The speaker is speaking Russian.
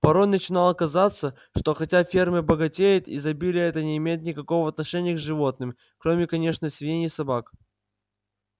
порой начинало казаться что хотя ферма богатеет изобилие это не имеет никакого отношения к животным кроме конечно свиней и собак